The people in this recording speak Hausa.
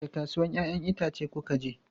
Wace kasuwan 'ya'yan itace kuka je?